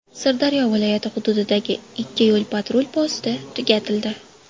Sirdaryo viloyati hududidagi ikki yo‘l-patrul posti tugatildi.